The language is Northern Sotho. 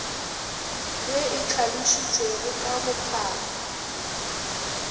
ye e hlalositšwego ka bophara